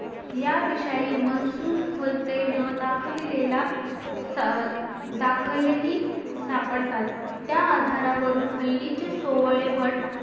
याविषयी मन्सूर हस्ते न दाखविले ला दाखले ही सापडतात त्या आधारावर हल्लीचे सोवळे भट